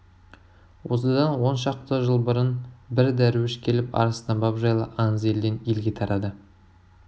осыдан он шақты жыл бұрын бір дәруіш келіп арыстанбап жайлы аңыз елден елге тарады